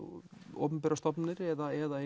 opinberar stofnanir eða